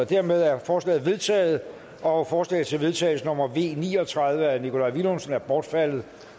dermed er forslaget vedtaget forslag til vedtagelse nummer v ni og tredive af nikolaj villumsen er bortfaldet